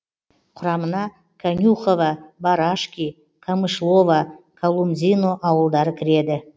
құрамына конюхово барашки камышлово колумзино ауылдары кіреді